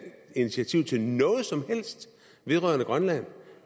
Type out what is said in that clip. initiativ til noget som helst vedrørende grønland